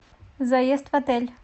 заезд в отель